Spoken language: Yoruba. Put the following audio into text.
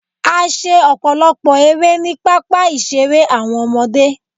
A ṣe ọ̀pọ̀lọpọ̀ erẹ́ ni pápá ìṣeré àwọn ọmọdé